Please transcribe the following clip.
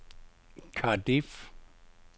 Cardiff